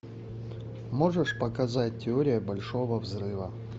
можешь показать теория большого взрыва